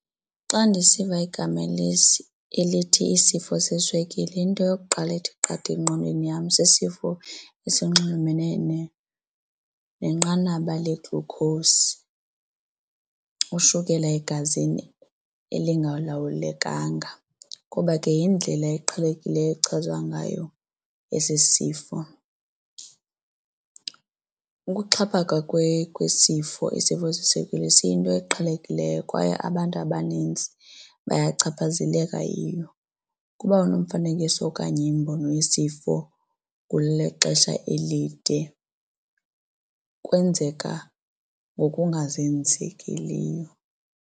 Xa ndisiva igama elithi isifo seswekile into yokuqala ethi qatha engqondweni yam sisifo esinxulumene nenqanaba le-glucose ushukela egazini elingalawulekanga kuba ke yindlela eqhelekileyo echazwa ngayo esi sifo. Ukuxhaphaka kwesifo isifo seswekile siyinto eqhelekileyo kwaye abantu abanintsi bayachaphazeleka yiyo kuba nomfanekiso okanye imbono yesifo kule xesha elide kwenzeka ngokungazenzekeliyo.